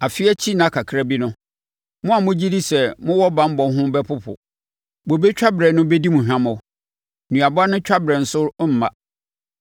Afe akyi nna kakra bi no mo a mogye di sɛ mo wɔ banbɔ ho bɛpopo; bobe twaberɛ no bɛdi mo hwammɔ, nnuaba no twaberɛ nso remma.